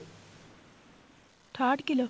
ਠਾਹਟ kilo